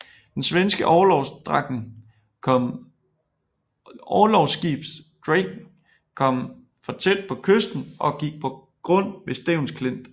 Det svenske orlogsskib Draken kom for tæt på kysten og gik på grund ved Stevns Klint